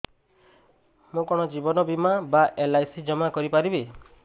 ମୁ କଣ ଜୀବନ ବୀମା ବା ଏଲ୍.ଆଇ.ସି ଜମା କରି ପାରିବି